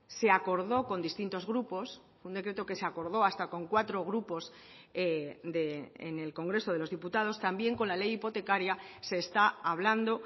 se acordó con distintos grupos un decreto que se acordó hasta con cuatro grupos en el congreso de los diputados también con la ley hipotecaria se está hablando